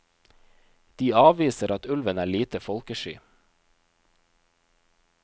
De avviser at ulven er lite folkesky.